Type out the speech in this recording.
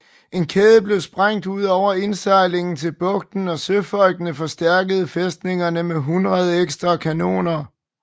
En kæde blev spændt ud over indsejlingen til bugten og søfolkene forstærkede fæstningerne med hundrede ekstra kanoner